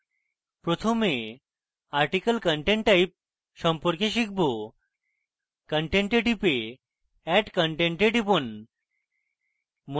প্রথমে article content type সম্পর্কে শিখব content we type add content we টিপুন